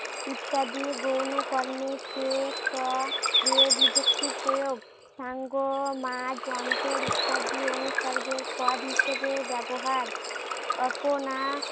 ইত্যাদি গৌণ কর্মে যোগ হওয়া ক্রিয়া বিভক্তি প্রয়োগ। ইত্যাদি অনুসর্গের পদ হিসেবে ব্যবহার। অপনা